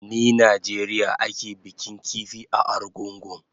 Ni Najeriya ake bikin kifi a Argungu